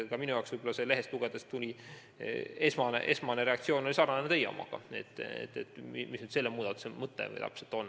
Kui ma seda lehest lugesin, siis oli ka minu esmane reaktsioon sarnane teie omaga, et mis nüüd selle muudatuse mõte ikkagi on.